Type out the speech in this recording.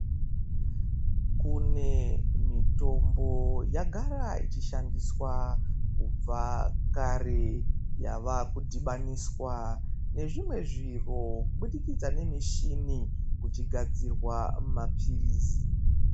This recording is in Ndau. Kune mitombo yagara ic hishandiswa kubva kare yava kudhimaniswa nezvimwe zviro kubudikidza nemishini kuchi gadzirwa mapilizi.